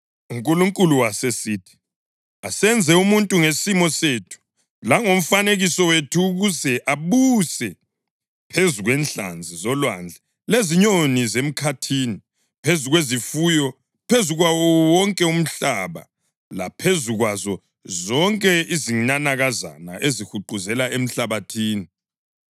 UNkulunkulu wasesithi, “Asenze umuntu ngesimo sethu langomfanekiso wethu ukuze abuse phezu kwenhlanzi zolwandle lezinyoni zemkhathini, phezu kwezifuyo, phezu kwawo wonke umhlaba laphezu kwazo zonke izinanakazana ezihuquzela emhlabathini.”